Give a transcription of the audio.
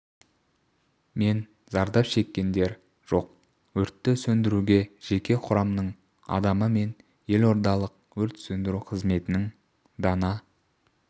мен зардап шеккендер жоқ өртті сөндіруге жеке құрамның адамы мен елордалық өрт сөндіру қызметінің дана